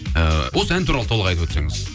ыыы осы ән туралы толық айтып өтсеңіз